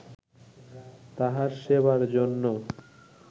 তাহার সেবার জন্য